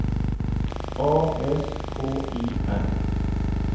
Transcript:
A S K I M